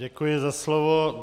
Děkuji za slovo.